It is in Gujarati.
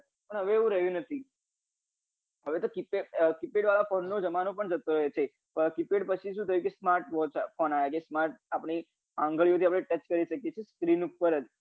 પણ હવે એવું રહ્યું નથી હવે તો keypad વાલા phone નો જમાનો પણ જતો રહ્યો છે keypad પછી શું થયું છે કે smart phone આપની આંગળી થી smart phone કરી શકીએ છીએ screen ઉપર જ